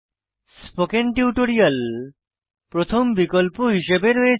spoken tutorial প্রথম বিকল্প হিসাবে রয়েছে